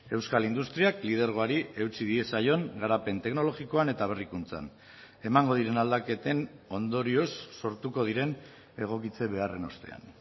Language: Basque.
euskal industriak lidergoari eutsi diezaion garapen teknologikoan eta berrikuntzan emango diren aldaketen ondorioz sortuko diren egokitze beharren ostean